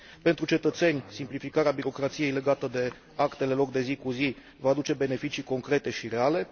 Pentru cetățeni, simplificarea birocrației legată de actele lor de zi cu zi va aduce beneficii concrete și reale.